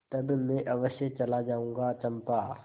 तब मैं अवश्य चला जाऊँगा चंपा